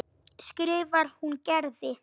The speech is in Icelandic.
skrifar hún Gerði.